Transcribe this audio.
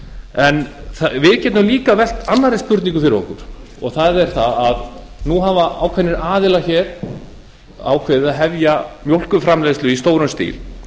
en við getum líka velt annarri spurningu fyrir okkur það er það að nú hafa ákveðnir aðilar ákveðið að hefja mjólkurframleiðslu í stórum stíl